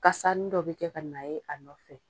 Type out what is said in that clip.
Kasani dɔ bɛ kɛ ka na ye a nɔfɛ,